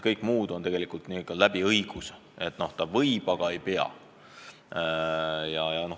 Kõige muu puhul on tegemist õigusega: võib teha, aga ei pea tegema.